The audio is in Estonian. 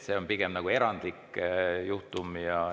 See on pigem erandlik juhtum.